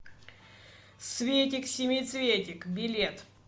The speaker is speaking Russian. светик семицветик билет